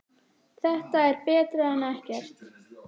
Þetta er betra en ekkert